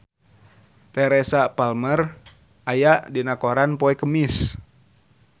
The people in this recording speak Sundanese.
Teresa Palmer aya dina koran poe Kemis